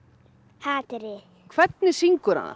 hatrið en hvernig syngur hann